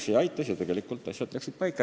See aitas ja asjad läksid paika.